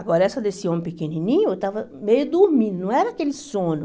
Agora essa desse homem pequenininho, eu estava meio dormindo, não era aquele sono.